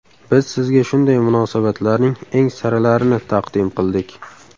Biz sizga shunday munosabatlarning eng saralarini taqdim qildik.